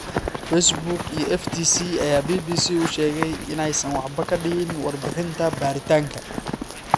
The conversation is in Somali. Facebook iyo FTC ayaa BBC u sheegay in aysan waxba ka dhihin warbixinta baaritaanka.